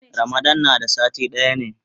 Ramadan na da sati daya ne.